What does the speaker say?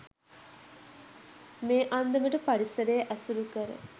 මේ අන්දමට පරිසරය ඇසුරු කර